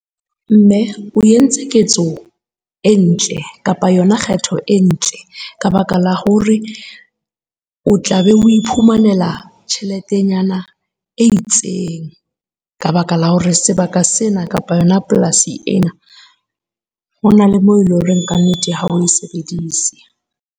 Mme o entse ketso e ntle kapa yona kgetho e ntle. Ka baka la hore o tla be o iphumanela tjheletenyana e itseng ka baka la hore sebaka sena kapa yona polasi ena, hona le moo ele horeng ka nnete ha o e sebedise.